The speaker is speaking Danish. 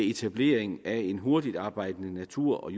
etablering af en hurtigtarbejdende natur